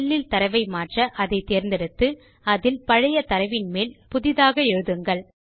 cellஇல் தரவை மாற்ற அதை தேர்ந்தெடுத்து அதில் பழைய தரவின் மேல் புதிதாக எழுதுங்கள்